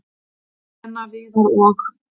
"""Lena, Viðar og-"""